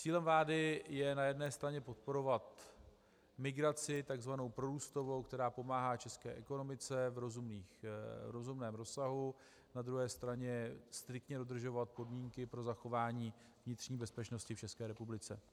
Cílem vlády je na jedné straně podporovat migraci tzv. prorůstovou, která pomáhá české ekonomice v rozumném rozsahu, na druhé straně striktně dodržovat podmínky pro zachování vnitřní bezpečnosti v České republice.